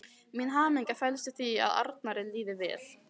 Mín hamingja felst í því að Arnari líði vel.